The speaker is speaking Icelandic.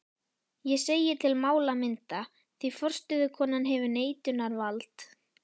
Ég segi til málamynda, því forstöðukonan hefur neitunarvald.